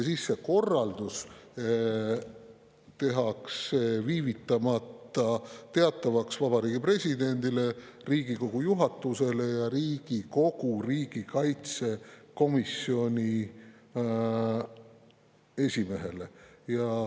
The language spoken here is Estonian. See korraldus tehakse viivitamata teatavaks Vabariigi Presidendile, Riigikogu juhatusele ja Riigikogu riigikaitsekomisjoni esimehele.